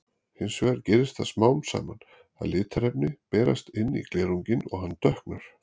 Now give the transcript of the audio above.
Hins vegar gerist það smám saman að litarefni berast inn í glerunginn og hann dökknar.